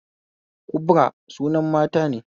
Kubra sunan matane